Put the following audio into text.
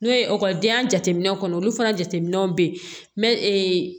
N'o ye ekɔlidenya jateminɛw kɔnɔ olu fana jateminɛw bɛ yen mɛ